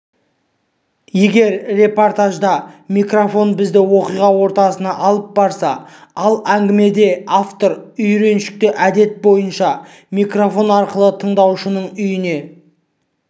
егер репортажда микрофон бізді оқиға ортасына алып барса ал әңгімеде автор үйреншікті әдет бойынша микрофон арқылы тыңдаушының үйіне